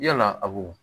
Yala awɔ